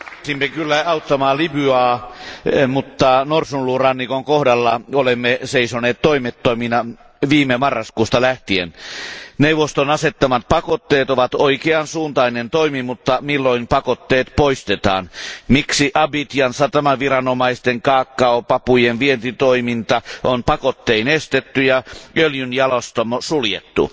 Arvoisa puhemies, kiirehdimme kyllä auttamaan Libyaa, mutta Norsunluurannikon kohdalla olemme seisoneet toimettomina viime marraskuusta lähtien. Neuvoston asettamat pakotteet ovat oikeansuuntainen toimi, mutta milloin pakotteet poistetaan? Miksi Abidjanin satamaviranomaisten kaakaopapujen vientitoiminta on pakottein estetty ja öljynjalostamo suljettu?